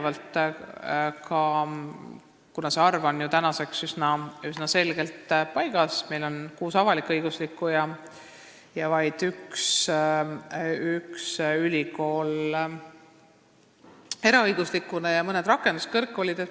Ülikoolide arv on tänaseks üsna selgelt paigas, meil on kuus avalik-õiguslikku ülikooli ja vaid üks eraõiguslik ülikool ning mõned rakenduskõrgkoolid.